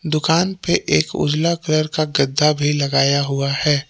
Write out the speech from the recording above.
दुकान पे एक उजला कलर का गद्दा भी लगाया हुआ है।